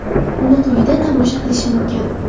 Uni quyida tomosha qilish mumkin.